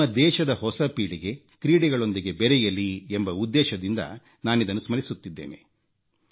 ನಮ್ಮ ದೇಶದ ಹೊಸ ಪೀಳಿಗೆ ಕ್ರೀಡೆಗಳೊಂದಿಗೆ ಬೆರೆಯಲಿ ಎಂಬ ಉದ್ದೇಶದಿಂದ ನಾನಿದನ್ನು ಸ್ಮರಿಸುತ್ತಿದ್ದೇನೆ